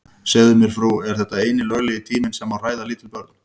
Segðu mér frú, er þetta eini löglegi tíminn sem má hræða lítil börn?